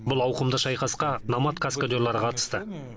бұл ауқымды шайқасқа номад каскадерлары қатысты